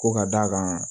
Ko ka d'a kan